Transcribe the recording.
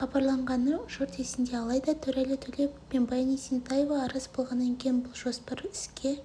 хабарланғаны жұрт есінде алайда төреәлі төлепов пен баян есентаева араз болғаннан кейін бұл жоспар іске